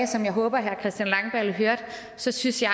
som jeg håber at herre christian langballe hørte så synes jeg